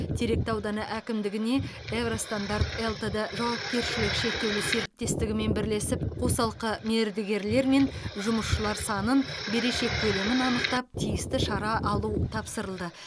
теректі ауданы әкімдігіне евро стандарт лтд жауапкершілігі шектеулі серіктестігімен бірлесіп қосалқы мердігерлер мен жұмысшылар санын берешек көлемін анықтап тиісті шара алу тапсырылды